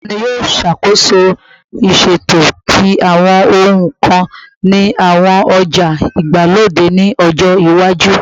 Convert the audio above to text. Tani yoo ṣakoso iṣeto ti awọn ohun kan ni awọn oja igbalode ni ọjọ iwaju?